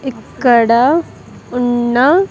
ఇక్కడ ఉన్న.